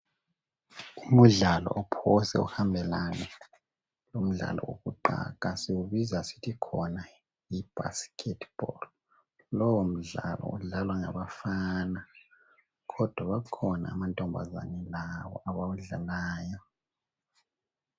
Umdlalo ophosa uhambelane lomdlalo owokuqaga, siwubiza sithi khona yi"basketball" .Lowo mdlalo udlalwa ngabafana kodwa bakhona amantombazane lawo abawudlalayo.